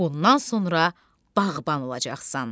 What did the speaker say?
Bundan sonra bağban olacaqsan.